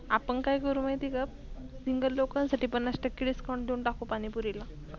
आपन काय करू माहित आहे का सिंगल लोकासाठी पंनास टके Discount देऊन टाकू पानी पुरीला.